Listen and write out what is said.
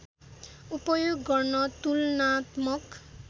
उपयोग गर्न तुलनात्मक